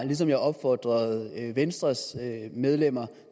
ligesom jeg opfordrede venstres medlemmer